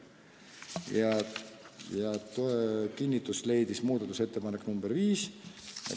Heakskiitu leidis ka muudatusettepanek nr 5.